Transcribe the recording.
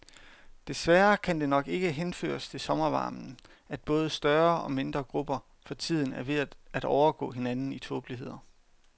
Desværre kan det nok ikke henføres til sommervarmen, at både større og mindre grupper for tiden er ved at overgå hinanden i tåbeligheder.